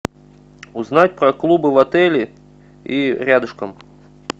узнать про клубы в отеле и рядышком